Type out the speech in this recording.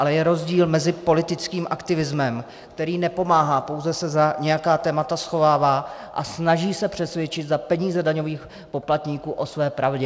Ale je rozdíl mezi politickým aktivismem, který nepomáhá, pouze se za nějaká témata schovává a snaží se přesvědčit za peníze daňových poplatníků o své pravdě.